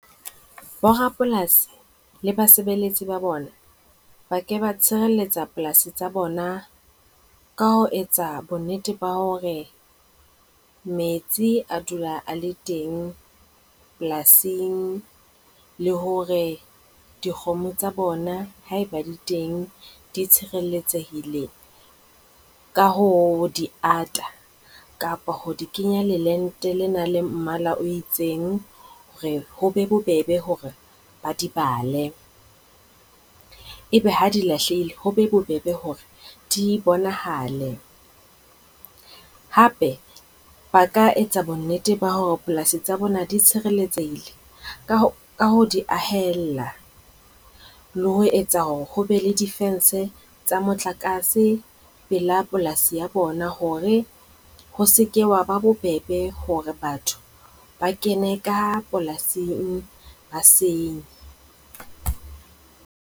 Borapolasi le basebeletsi ba bona ba ke ba tshireletsa polasi tsa bona ka ho etsa bonnete ba hore metsi a dula a le teng polasing le hore dikgomo tsa bona, haeba di teng, di tshereletsehileng ka ho di ata kapa ho di kenya le lente lena la mmala o itseng hore ho be bobebe hore ba di bale. Ebe ha di lahlehile ho be bobebe hore di bonahale. Hape ba ka etsa bonnete ba hore polasi tsa bona di tshireletsehile, ka ho di ahella le ho etsa hore ho be le difense tsa motlakase pela polasi ya bona hore ho seka hwa ba bobebe hore batho ba kene ka polasing ba senye.